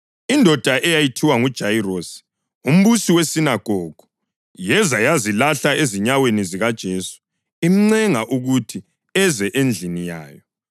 Indoda eyayithiwa nguJayirosi, umbusi wesinagogu, yeza yazilahla ezinyaweni zikaJesu, imncenga ukuthi eze endlini yayo